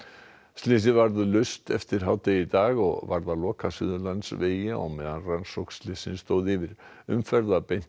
slysið varð laust eftir hádegið í dag og varð að loka Suðurlandsveginum á meðan rannsókn slyssins stóð yfir umferð var beint